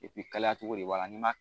Epi kalaya cogo de b'a la n'i man